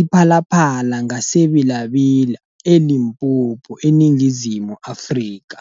iPhalaPhala ngaseBela -Bela, eLimpopo, eNingizimu Afrika.